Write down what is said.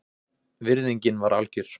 Virðingin var algjör